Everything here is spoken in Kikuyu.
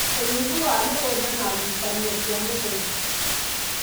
ũnyihu wa mĩgũnda na ngucanio cia mĩgũnda